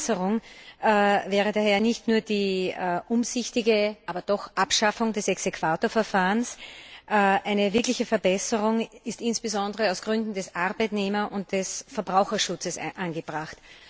Eine Verbesserung wäre daher nicht nur eine umsichtige Abschaffung des Exequaturverfahrens, eine wirkliche Verbesserung ist insbesondere aus Gründen des Arbeitnehmer und des Verbraucherschutzes angebracht.